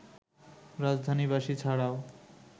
রাজধানীবাসী ছাড়াও